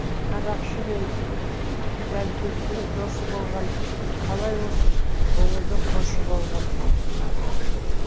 қарақшы мен жәлпеттің досы болған қалай осы көңілдің хошы болған